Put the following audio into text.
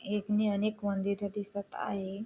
एक नी अनेक मंदिरे दिसत आहे.